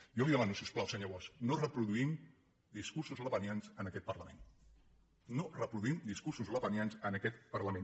jo li demano si us plau senyor bosch que no reproduïm discursos le·penians en aquest parlament no reproduïm discursos lepenians en aquest parlament